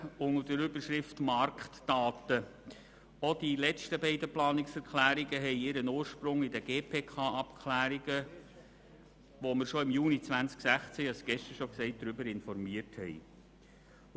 Auch die beiden letzten Planungserklärungen zu den Marktdaten haben ihren Ursprung in den GPK-Abklärungen, über die wir schon im Juni 2016 informiert haben.